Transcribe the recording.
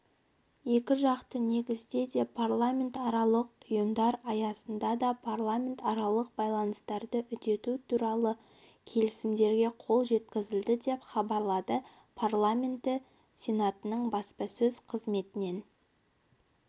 екіжақты негізде де парламентаралық ұйымдар аясында да парламентаралық байланыстарды үдету туралы келісімдерге қол жеткізілді деп хабарлады парламенті сенатының баспасөз қызметінен